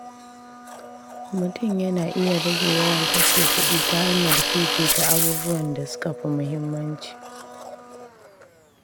Mutum yana iya rage yawan kashe kuɗi ta hanyar fifita abubuwan da suka fi muhimmanci.